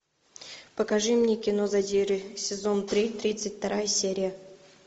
покажи мне кино задиры сезон три тридцать вторая серия